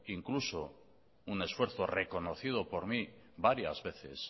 incluso un esfuerzo reconocido por mí varias veces